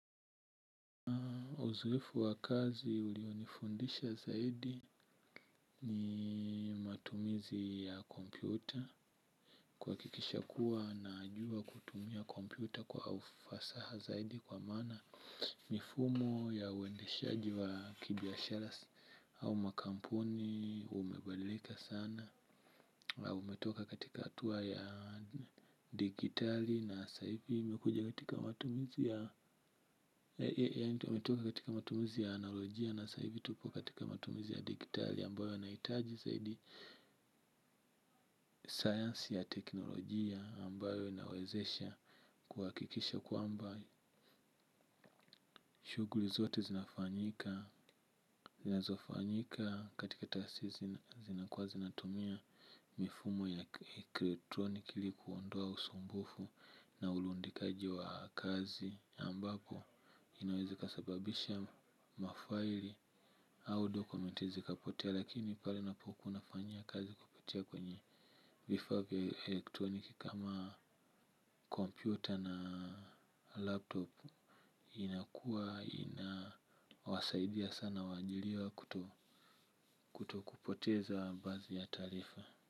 Uzoefu wa kazi ulionifundisha zaidi ni matumizi ya kompyuta kuhakikisha kuwa najua kutumia kompyuta kwa ufasaha zaidi kwa maana mifumo ya uendeshaji wa kibiashara au makampuni umebadilika sana. Umetoka katika hatua ya dijitali na saivi imekuja katika matumizi. Yaani tumetoka katika matumizi ya analojia na saivi tupo katika matumizi ya digitali ambayo yanahitaji zaidi sayansi ya teknolojia ambayo inawezesha kuhakikisha kwamba shughuli zote zinafanyika. Zinazofanyika katika taasisi zinakuwa zinatumia mifumo ya kielektroniki ili kuondoa usumbufu na ulundikaji wa kazi ambapo inaweza ikasababisha mafaili au dokumenti zikapotea lakini pale unapokuwa unafanyia kazi kupitia kwenye vifaa vya elektroniki kama kompyuta na laptop inakuwa inawasaidia sana waajiriwa kutokupoteza baadhi ya taarifa.